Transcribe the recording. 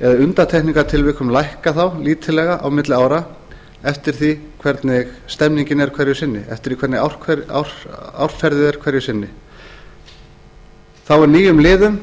eða í undantekningartilvikum lækka þá lítillega á milli ára eftir því hvernig árferðið er hverju sinni þá er nýjum liðum